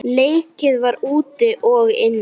Leikið var úti og inni.